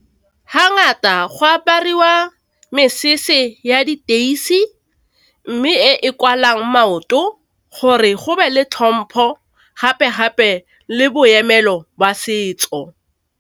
Ha ngata go apariwa mesese ya diteisi mme e e kwalwang maoto gore go be le tlhompho gape gape le boemelo setso.